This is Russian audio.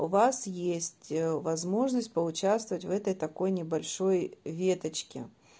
у вас есть ээ возможность поучаствовать в этой такой небольшой веточке